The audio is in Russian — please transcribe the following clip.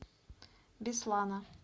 беслана